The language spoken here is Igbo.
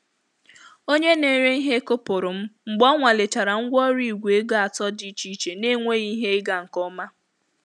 Onye na-ere ihe kụpụrụ m mgbe ọ nwalechara ngwaọrụ Igwe ego atọ dị iche iche na-enweghị ihe ịga nke ọma.